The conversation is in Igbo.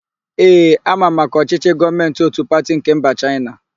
Ee, ama m maka ọchịchị gọọmentị ótù pati nke mba Chaịna.